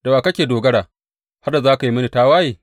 Da wa ka dogara har da za ka yi mini tawaye?